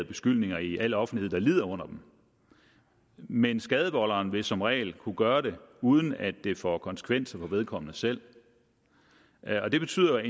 beskyldninger i al offentlighed der lider under dem men skadevolderen vil som regel kunne gøre det uden at det får konsekvenser for vedkommende selv og det betyder